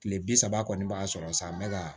Kile bi saba kɔni b'a sɔrɔ sa n bɛ ka